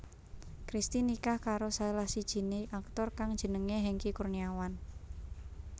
Christy nikah karo salah sijiné aktor kang jenengé Hengky Kurniawan